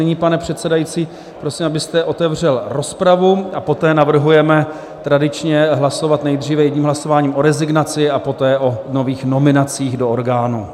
Nyní, pane předsedající, prosím, abyste otevřel rozpravu, a poté navrhujeme tradičně hlasovat nejdříve jedním hlasováním o rezignaci a poté o nových nominacích do orgánů.